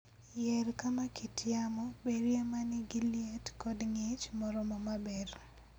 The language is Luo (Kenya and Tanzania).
Yier kama kit yamo berie ma nigi liet kod ng'ich moromo maber .